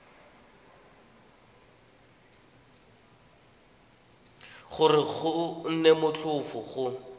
gore go nne motlhofo go